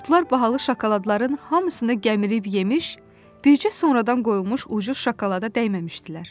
Qurdlar bahalı şokoladların hamısını gəmirib yemiş, bircə sonradan qoyulmuş ucuz şokolada dəyməmişdilər.